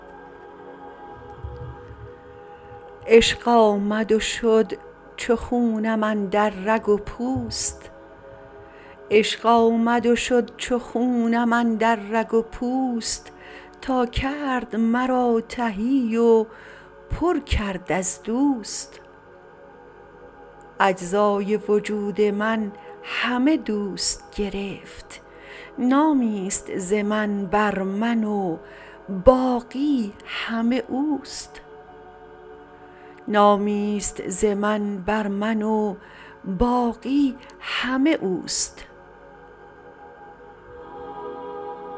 عشق آمد و شد چو خونم اندر رگ و پوست تا کرد مرا تهی و پر کرد از دوست اجزای وجود من همه دوست گرفت نامیست ز من بر من و باقی همه اوست